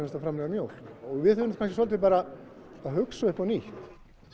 að framleiða mjólk við þurfum kannski bara að hugsa upp á nýtt